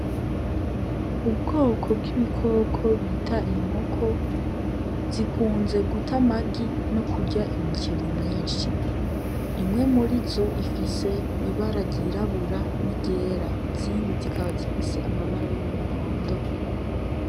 Ubwoko bw'ibikoko bita inkoko, zikunze guta amagi no kurya imiceri myinshi. Imwe murizo ifise ibara ryirabura n'iryera izindi zikaba zifise amabara y'umuhondo.